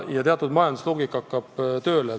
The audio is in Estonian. Teatud majandusloogika hakkab tööle.